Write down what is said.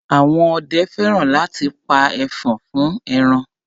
Àwọn ọdẹ fẹ́ràn láti pa ẹfọ̀n fún ẹran.